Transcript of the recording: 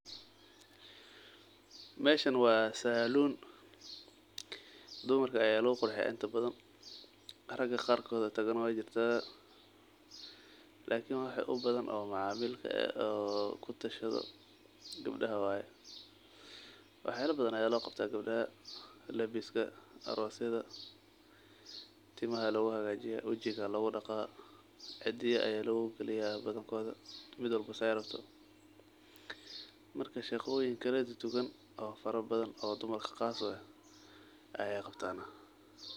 Meshan waa saloon dumarka aya lugu qurxiya inta badhaan raga qaar koodha tagana wayjirta lakini waxa ubadhan oo macamil ka eh oo kutashadho qabdhaha waay. wax yaala badhan aya looqabtaa qabdhaha; labiska, arosayadha, timaha loo haqajiya, wajiqa aya lodaqa, cidiyaha aya loqaliya badhankodha midwalba saay rabto. Marka shaqooyiin kaladuduwan oo farabadhan oo dumarka qaas u aah ayay qabtaan.